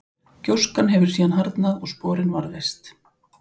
gjóskan hefur síðan harðnað og sporin varðveist